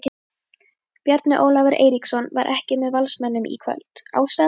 Bjarni Ólafur Eiríksson var ekki með Valsmönnum í kvöld, ástæðan?